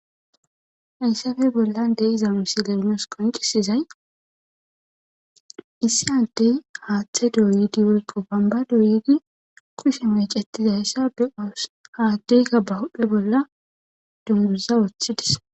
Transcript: Haysafe bollan de'iza misiley nus qoncisizay issi adey hathe doyidi woyko bonba doyidi kushe mecetizaysa be'ios ha adeyka be hphene duguza wothides